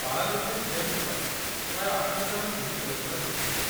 Paralympic Games ପାଇଁ ପ୍ରାୟ ଆଠ ଜଣ ଏହି ପୁରସ୍କାର ଜିତିଥିଲେ।